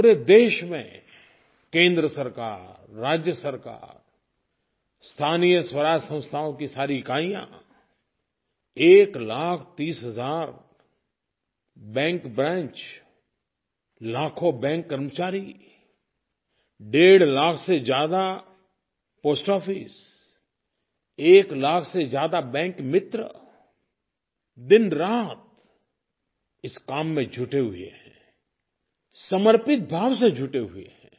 पूरे देश में केंद्र सरकार राज्य सरकार स्थानीय स्वराज संस्थाओं की सारी इकाइयाँ एक लाख तीस हज़ार बैंक ब्रांच लाखों बैंक कर्मचारी डेढ़ लाख से ज़्यादा पोस्ट ऑफिस एक लाख से ज़्यादा बैंकमित्र दिनरात इस काम में जुटे हुए हैं समर्पित भाव से जुटे हुए हैं